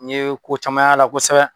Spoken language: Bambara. N ye ko caman y'a la kosɛbɛ.